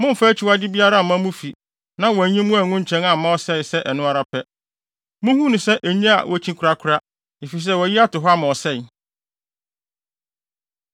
Mommfa akyiwade biara mma mo fi na wɔanyi mo angu nkyɛn amma ɔsɛe sɛ ɛno ara pɛ. Munhu no sɛ enye a wokyi korakora; efisɛ wɔayi ato hɔ ama ɔsɛe.